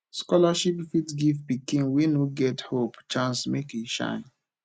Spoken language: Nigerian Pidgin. scholarship fit give pikin wey no get hope chance make e shine